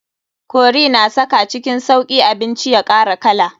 Curry na saka cikin sauki abinci ya kara kala.